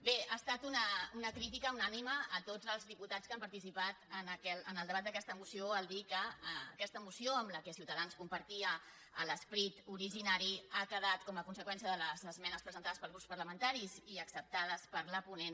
bé ha estat una crítica unànime a tots els diputats que han participat en el debat d’aquesta moció dir que a questa moció amb la qual ciutadans compartia l’es·perit originari ha quedat com a conseqüència de les esmenes presentades pels grups parlamentaris i ac·ceptades per la ponent